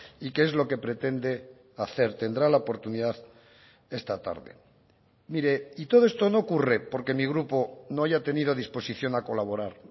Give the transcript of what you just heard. y qué es lo que pretende hacer tendrá la oportunidad esta tarde mire y todo esto no ocurre porque mi grupo no haya tenido disposición a colaborar